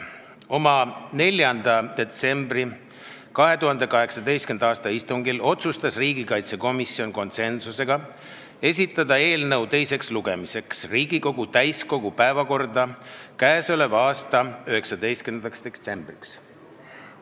Oma 4. detsembri 2018. aasta istungil otsustas riigikaitsekomisjon konsensuslikult esitada eelnõu teiseks lugemiseks Riigikogu täiskogu päevakorda k.a 19. detsembriks.